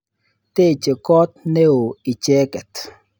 Teche kot ne oo icheket.